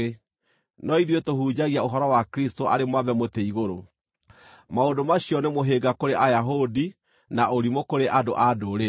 no ithuĩ tũhunjagia ũhoro wa Kristũ arĩ mwambe mũtĩ igũrũ: maũndũ macio nĩ mũhĩnga kũrĩ Ayahudi na ũrimũ kũrĩ andũ-a-Ndũrĩrĩ,